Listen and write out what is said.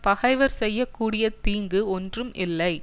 பகைவர் செய்ய கூடிய தீங்கு ஒன்றும் இல்லை